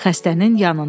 Xəstənin yanında.